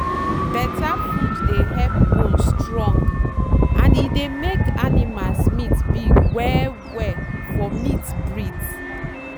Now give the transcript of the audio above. better food dey help bone strong and e dey make animals meat big well well for meat breeds.